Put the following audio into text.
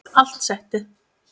Allt settið